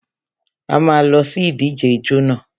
A má a lọ sí ìdíje ijó nà.